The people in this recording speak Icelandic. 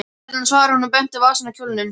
Hérna, svaraði hún og benti á vasann á kjólnum.